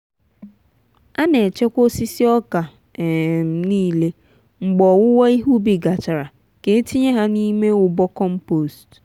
ana echekwa osisi oka um niile mgbe owuwo ihe ubi gachara ka e tinye ha n'ime ụbọ compost.